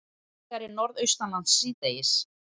Hægari Norðaustanlands síðdegis